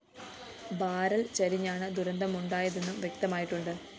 barrel ചരിഞ്ഞാണ് ദുരന്തമുണ്ടായതെന്നും വ്യക്തമായിട്ടുണ്ട്